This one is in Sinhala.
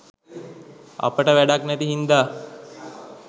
අපට වැඩක් නැති හින්දා